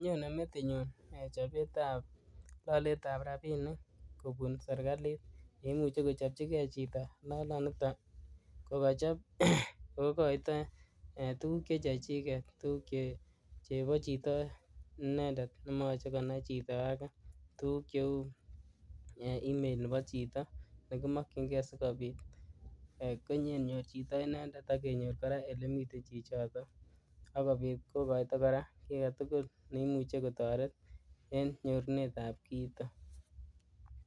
Nyonei metinyu chopetap looletab rabiinik kobun serkalit neimuche kochopchigei chito looloniton ko kachop kokoito tuguk che chechiget, tuguk chebo chito inendet nemachekane chito age. Tuguk cheu email nebo chito nekimokyingei sikobiit kogenyor chito inendet ak kenyor kora olemiten chichotok ak kobiit kokoito kora kiiy age tugul neimuche kotoret en nyorunet ab kiito.